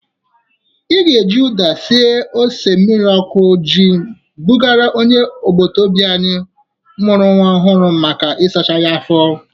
Ị ga-eji ụda sie ose mmiri ọkụ ji bujere onye agbataobi anyị mụrụ nwa ọhụrụ maka ịsachasị ya afọ.